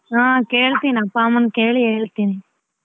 ಹಾ ಕೇಳ್ತೀನಿ ಅಪ್ಪ, ಅಮ್ಮನ ಕೇಳಿ ಹೇಳ್ತೀನಿ.